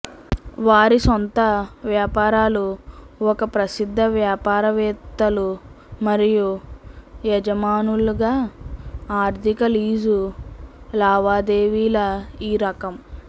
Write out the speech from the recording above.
వారి సొంత వ్యాపారాలు ఒక ప్రసిద్ధ వ్యాపారవేత్తలు మరియు యజమానులుగా ఆర్థిక లీజు లావాదేవీల ఈ రకం